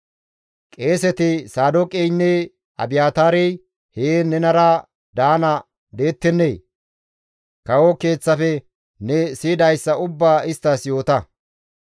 Qeeseti Saadooqeynne Abiyaataarey heen nenara daana deettennee? Kawo keeththafe ne siyidayssa ubbaa isttas yoota.